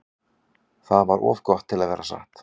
Það var of gott til að vera satt.